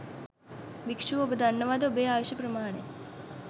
භික්ෂුව ඔබ දන්නවාද ඔබේ ආයුෂ ප්‍රමාණය.